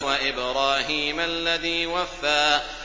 وَإِبْرَاهِيمَ الَّذِي وَفَّىٰ